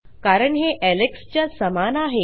कारण हे एलेक्स च्या समान आहे